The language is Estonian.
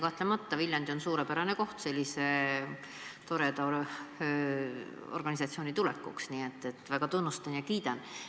Kahtlemata on Viljandi suurepärane koht sellise toreda organisatsiooni tulekuks, nii et ma väga tunnustan ja kiidan seda.